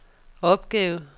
opgave